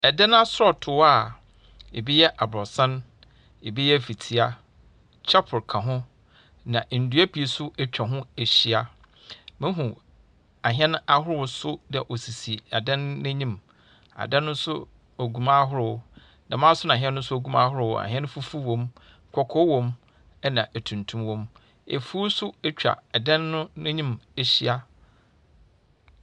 Aan asɔɔtoo a ebi yɛ aborosan, ebi yɛ fitia. Chapel ka ho, na nnua pii nso atwa ho ahyia. Muhu ahɛn ahorow nso dɛ wɔsisi adan no anim. Adan no nso gu mu ahorow. Dɛm ara nso ns hɛn no nso gu mu ahorow. Ahɛn fufuw wom, kɔkɔɔ wom ɛnna atuntum wom. Afuw nso atwa dan no anim ahyia.